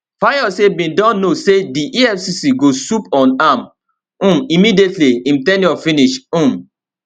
fayose bin don know say di efcc go swoop on am um immediately im ten ure finish um